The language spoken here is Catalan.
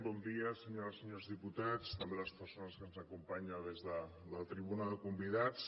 bon dia senyores i senyors diputats també a les persones que ens acompanyen des de la tribuna de convidats